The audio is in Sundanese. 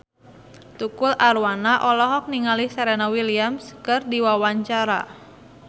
Tukul Arwana olohok ningali Serena Williams keur diwawancara